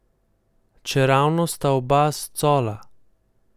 Čeravno sta oba s Cola.